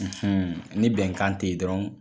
Un ni bɛnkan te yen dɔrɔn